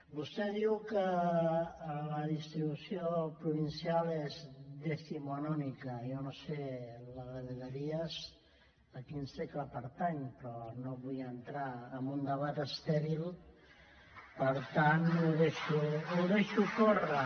vostè diu que la distribució provincial és decimonónica jo no sé la de vegueries a quin segle pertany però no vull entrar en un debat estèril per tant ho deixo córrer